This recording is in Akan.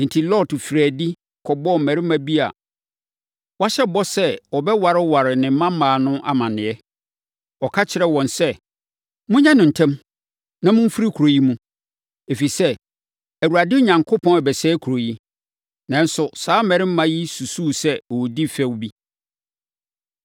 Enti, Lot firii adi, kɔbɔɔ mmarima bi a wɔahyɛ bɔ sɛ wɔbɛwareware ne mmammaa no amaneɛ. Ɔka kyerɛɛ wɔn sɛ, “Monyɛ no ntɛm, na momfiri kuro yi mu, ɛfiri sɛ, Awurade Onyankopɔn rebɛsɛe kuro yi!” Nanso, na saa mmarima yi susu sɛ ɔredi fɛ bi.